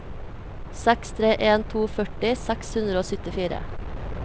seks tre en to førti seks hundre og syttifire